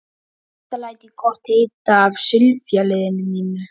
Þetta læt ég gott heita af sifjaliði mínu.